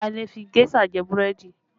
A lè fi géṣà jẹ búrẹ́dì